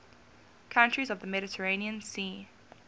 countries of the mediterranean sea